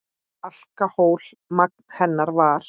Alkóhól magn hennar var.